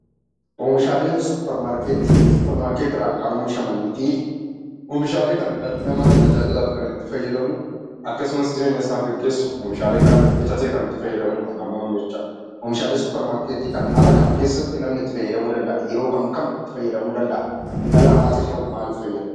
Oomishaaleen suuparmarkeetii suuparmarkeetiidhaan kan oomishamanii fi oomishaalee kana dhalli namaa tajaajilaaf kan itti fayydamu akkasumas jireenyasaa geggeessuf oomishaalee kanatti bitatee kan itti fayyadamuudha namoonni jechaadha. Oomishaalee suuparmarkeetii kana haala kam keessatti namni itti fayyadamuu danda'a? yeroo kam kam fayyadamuu danda'a? dhala namaatifoo maalif fayyada?